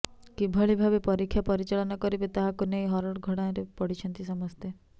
କିଭଳି ଭାବେ ପରୀକ୍ଷା ପରିଚାଳନା କରିବେ ତାହାକୁ ନେଇ ହରଡ଼ଘଣାରେ ପଡ଼ିଛନ୍ତି ସମସ୍ତେ